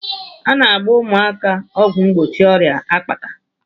A na-agba ụmụaka ọgwụ mgbochi ọrịa akpata.